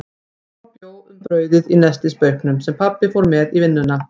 Mamma bjó um brauðið í nestisbauknum, sem pabbi fór með í vinnuna.